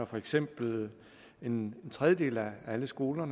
for eksempel en tredjedel af alle skoler